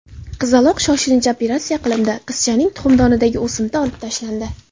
Qizaloq shoshilinch operatsiya qilindi, qizchaning tuxumdonidagi o‘simta olib tashlandi.